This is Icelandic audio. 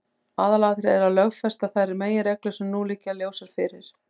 Aðalatriðið er að lögfesta þær meginreglur sem nú liggja ljósar fyrir.